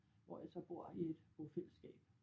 Hvor jeg så bor i et bofællesskab